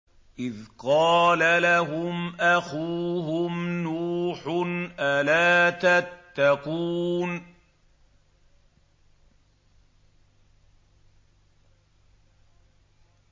إِذْ قَالَ لَهُمْ أَخُوهُمْ نُوحٌ أَلَا تَتَّقُونَ